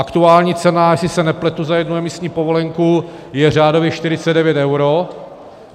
Aktuální cena, jestli se nepletu, za jednu emisní povolenku je řádově 49 eur.